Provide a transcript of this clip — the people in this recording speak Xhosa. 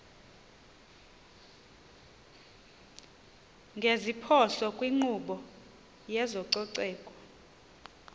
ngeziphoso kwinkqubo yezococeko